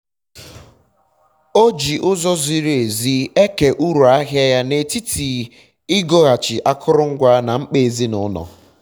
nwa nwanne nna m na-edekọ ego nile e retara na ọka ka ọ mara mgbe uru bidoro batawa